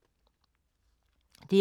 DR2